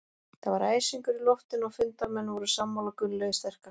Það var æsingur í loftinu og fundarmenn voru sammála Gunnlaugi sterka.